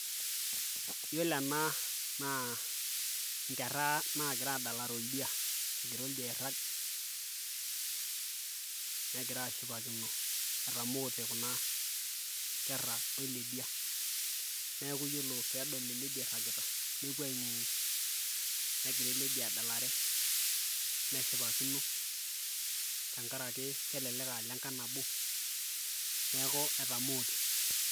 iyiolo ena naa inkera naagira aadalare oldia, egira oldia egira airag. negira aashipakino, etamoote kuna kera weledia, neeku ore pee edol ele dia iragita nepuo aing'ng'u, negira ele dia adalere neshipakino, tenkaraki kelelek aa ilenkang' nabo neeku etamoote.